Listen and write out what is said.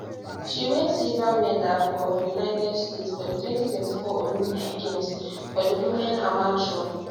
she win silver medal for united states for di 2024 olympic games for di women hammer throw